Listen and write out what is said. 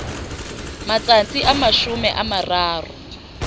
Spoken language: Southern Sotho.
matsatsi a mashome a mararo